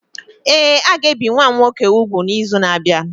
Ee, a ga-ebi nwa m nwoke úgwù n’izu na-abịa.